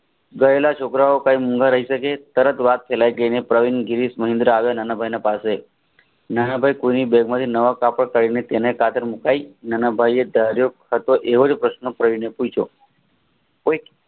ગયેલા છોકરાઓ કાઇ મુંગા રહી સકે તરત વાત ફેલાઇ અને નીંદર આવે નાનાભાઈએ કોઈની બેગ માંથી કાપડ કલાંધીને તેને કતાર મુકાવી નાનાભાઈએ ઘેર્ય થતો એવો જ પ્રશ્ન પૂછ્યો